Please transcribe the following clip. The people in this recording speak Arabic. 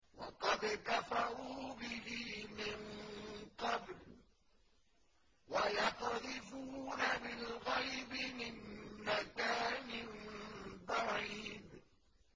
وَقَدْ كَفَرُوا بِهِ مِن قَبْلُ ۖ وَيَقْذِفُونَ بِالْغَيْبِ مِن مَّكَانٍ بَعِيدٍ